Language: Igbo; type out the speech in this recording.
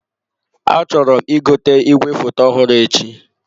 Achọrọ m ị gote igwefoto ọhụrụ echi.